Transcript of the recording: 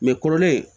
Mɛ kɔrɔlen